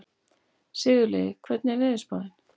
Sigurliði, hvernig er veðurspáin?